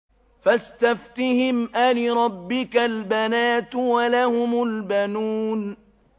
فَاسْتَفْتِهِمْ أَلِرَبِّكَ الْبَنَاتُ وَلَهُمُ الْبَنُونَ